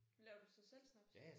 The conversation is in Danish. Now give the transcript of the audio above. Laver du så selv snaps?